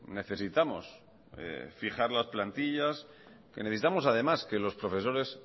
necesitamos fijar las plantillas que necesitamos además que los profesores